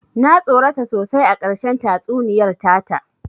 Na tsorata sosai a ƙarshen tatsuniyar ta ta